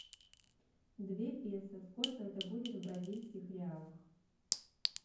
две песо сколько это будет в бразильских реалах